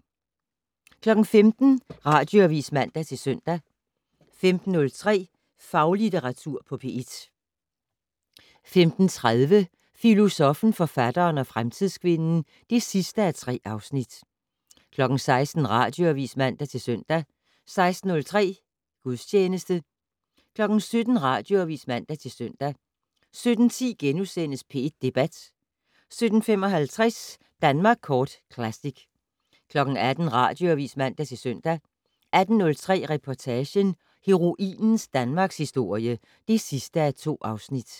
15:00: Radioavis (man-søn) 15:03: Faglitteratur på P1 15:30: Filosoffen, forfatteren og fremtidskvinden (3:3) 16:00: Radioavis (man-søn) 16:03: Gudstjeneste 17:00: Radioavis (man-søn) 17:10: P1 Debat * 17:55: Danmark Kort Classic 18:00: Radioavis (man-søn) 18:03: Reportagen: Heroinens Danmarkshistorie (2:2)